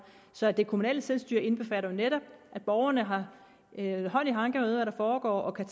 så det kommunale selvstyre indbefatter netop at borgerne har hånd i hanke med hvad der foregår og kan